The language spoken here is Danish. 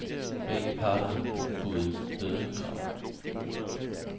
Begge parter har bebudet bødekrav.